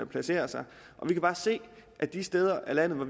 placere sig og vi kan bare se at de steder i landet hvor